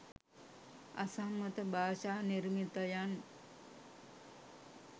අසම්මත භාෂා නිර්මිතයන්